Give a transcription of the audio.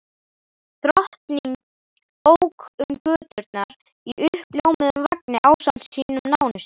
Drottning ók um göturnar í uppljómuðum vagni ásamt sínum nánustu.